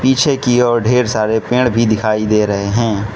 पीछे की ओर ढेर सारे पेड़ भी दिखाई दे रहे हैं।